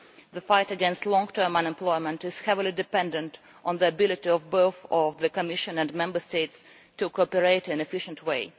The fight against long term unemployment is heavily dependent on the ability of both the Commission and Member States to cooperate in an efficient way.